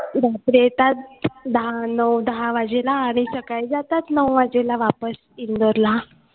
रात्री दहा नऊ दहा वाजेला आणि सकाळी जातात नऊ वाजेला वापस इंदोरला